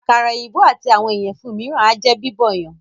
Àkàrà èyìnbó àti àwọn ìyẹ̀fun míràn ájẹ́ Bíbọ̀ yan.